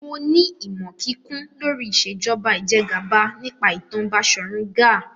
Mo ní ìmọ̀ kíkún lórí Ìṣèjọba Ìjẹgàba nípa ìtàn Basọ̀run Gáà